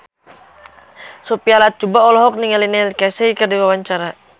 Sophia Latjuba olohok ningali Neil Casey keur diwawancara